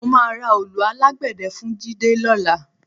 Mo máa ra òòlù alágbẹ̀dẹ́ fún Jídé lọ́la